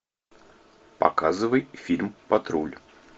показывай фильм патруль